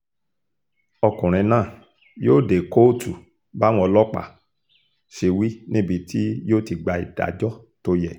ọkùnrin náà yóò dé kóòtù báwọn ọlọ́pàá ṣe wí níbi tí yóò ti gba ìdájọ́ tó yẹ